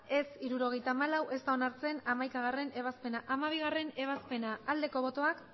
ez hirurogeita hamalau ez da onartzen hamaikagarrena ebazpena hamabigarrena ebazpena aldeko botoak